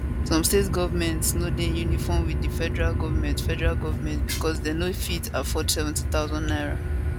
some states goment dey no dey in uniform wit di federal goment federal goment becos dem no fit afford 70000 naira